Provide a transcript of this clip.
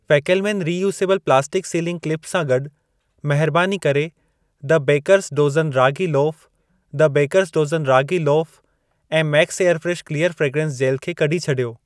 फैकेलमेन reusable plastic sealing clips सां गॾि, महरबानी करे द बेकर'स डोज़न रागी लोफ़ु, द बेकर'स डोज़न रागी लोफ़ु ऐं Max airfresh clear fragrance gel खे कढी छॾियो।